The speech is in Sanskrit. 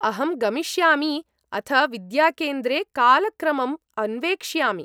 अहं गमिष्यामि अथ विद्याकेन्द्रे कालक्रमम् अन्वेक्ष्यामि।